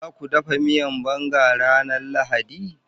Za ku dafa miyan banga ranar Lahadi?